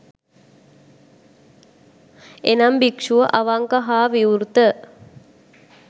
එනම් භික්‍ෂුව අවංක හා විවෘත